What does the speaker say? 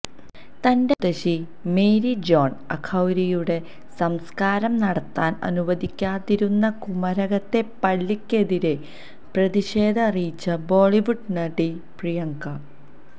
തന്റെ മുത്തശ്ശി Mary John അഖൌരിയുടെ സംസ്കാരം നടത്താന് അനുവദിക്കാതിരുന്ന കുമരകത്തെ പള്ളിക്കെതിരെ പ്രതിഷേധം അറിയിച്ച് ബോളിവുഡ് നടി പ്രിയങ്കാ